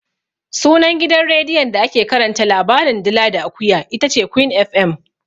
Sunan gidan rediyon da ake karanta labarin "dila da akuya" itace Queen FM.